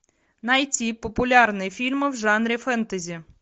найти популярные фильмы в жанре фэнтези